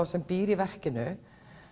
sem býr í verkinu